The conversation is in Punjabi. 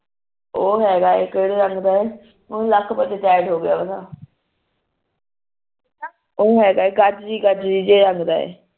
ਓ ਹੈਗਾ ਏ ਕਿਹੜੇ ਰੰਗ ਦਾ ਏ ਲੱਕ ਵਿੱਚੋਂ ਟਾਇਟ ਹੋ ਗਿਆ ਓ ਹੈਗਾ ਏ ਗਾਜਰੀ ਗਾਜਰੀ ਜੇ ਰੰਗ ਦਾ ਏ